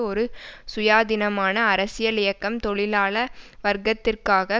ஒரு சுயாதீனமான அரசியல் இயக்கம் தொழிலாள வர்க்கத்திற்காக